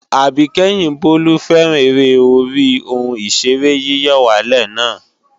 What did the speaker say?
Àbíkẹ́yìn Bólú fẹ́ràn eré orí ohun ìṣeré yíyọ̀wálè na